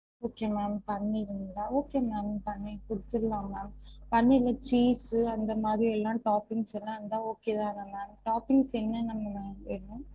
Okay ma'am பன்னீருங்களா? okay ma'am paneer குடுத்துரலாம் ma'am பன்னீர்ல cheese அந்த மாதிரி எல்லா toppings லா இருந்தா okay தான ma'am toppings என்னென்ன ma'am வேணும்?